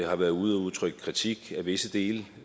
har været ude at udtrykke kritik af visse dele